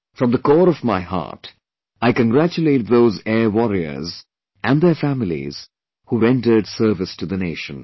From the core of my heart, I congratulate those Air Warriors and their families who rendered service to the nation